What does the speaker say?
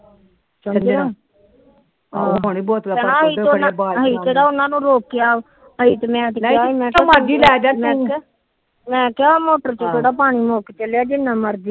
ਕ ਅਸੀ ਕਿਹੜਾ ਉਹਨਾ ਨੰ ਰੋਕਿਆ ਮੈ ਕਿਹਾ ਮੋਟਰ ਚ ਕਿਹੜਾ ਪਾਣੀ ਮੁਕ ਚੱਲਿਆ ਜਿਨਾ ਮਰਜੀ।